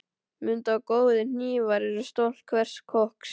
Mundu að góðir hnífar eru stolt hvers kokks.